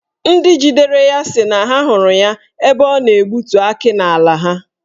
Ndị jidere ya si na ha hụrụ ya ebe ọ na-egbutu akị n'ala ha.